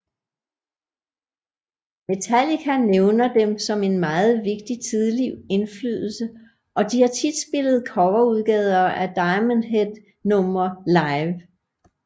Metallica nævner dem som en meget vigtig tidlig indflydelse og de har tit spillet coverudgaver af Diamond Head numre live